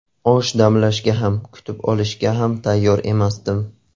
Osh damlashga ham, kutib olishga ham tayyor emasdim.